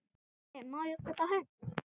Pabbi, má ég kaupa hund?